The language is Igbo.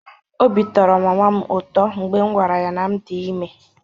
Obi tọrọ mama m ụtọ mgbe m gwara ya na m dị ime.